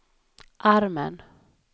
armen